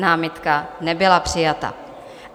Námitka nebyla přijata.